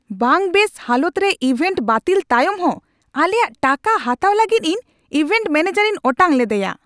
ᱵᱟᱝ ᱵᱮᱥ ᱦᱟᱞᱚᱛ ᱨᱮ ᱤᱵᱷᱮᱱᱴ ᱵᱟᱹᱛᱤᱞ ᱛᱟᱭᱚᱢ ᱦᱚᱸ ᱟᱞᱮᱭᱟᱜ ᱴᱟᱠᱟ ᱦᱟᱛᱟᱣ ᱞᱟᱹᱜᱤᱫ ᱤᱧ ᱤᱵᱷᱮᱱᱴ ᱢᱮᱱᱮᱡᱟᱨᱤᱧ ᱚᱴᱟᱝ ᱞᱮᱫᱮᱭᱟ ᱾